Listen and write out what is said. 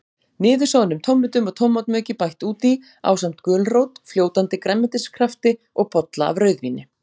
Niðursoðnum tómötum og tómatmauki bætt út í, ásamt gulrót, fljótandi grænmetiskrafti og bolla af rauðvíni.